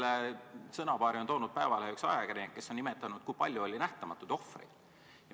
Selle sõnapaari on toonud päevakorrale üks ajakirjanik, kes on nimetanud, kui palju oli nähtamatuid ohvreid.